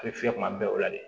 A bɛ fiyɛ kuma bɛɛ o la de